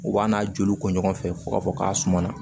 U b'a n'a joli ko ɲɔgɔn fɛ fo k'a fɔ k'a suma na